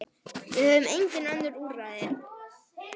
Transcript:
Við höfum engin önnur úrræði.